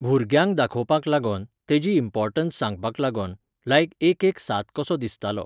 भूरग्यांक दाखोपाक लागोन, तेजी importance सांगपाक लागोन, like एक एक सांत कसो दिसतालो